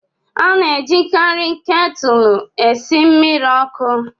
A na-ejikarị ketụlụ esi mmiri ọkụ